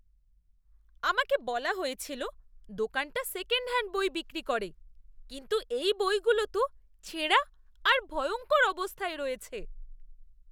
আমাকে বলা হয়েছিল দোকানটা সেকেন্ডহ্যান্ড বই বিক্রি করে, কিন্তু এই বইগুলো তো ছেঁড়া আর ভয়ঙ্কর অবস্থায় রয়েছে!